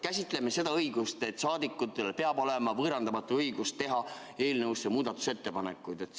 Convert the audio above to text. Käsitleme seda, et saadikutel peab olema võõrandamatu õigus teha eelnõu kohta muudatusettepanekuid.